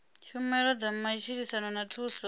tshumelo dza matshilisano na thuso